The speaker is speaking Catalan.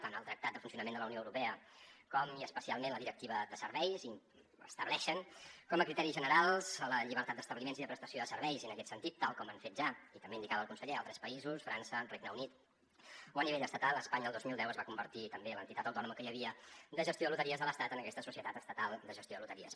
tant el tractat de funcionament de la unió europea com i especialment la directiva de serveis estableixen com a criteris generals la llibertat d’establiments i de prestació de serveis i en aquest sentit tal com han fet ja i també ho indicava el conseller altres països frança regne unit o a nivell estatal espanya el dos mil deu es va convertir també en l’entitat autònoma que hi havia de gestió de loteries de l’estat en aquesta societat estatal de gestió de loteries